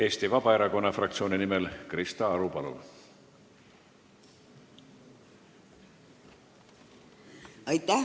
Eesti Vabaerakonna fraktsiooni nimel Krista Aru, palun!